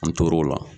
An tor'o la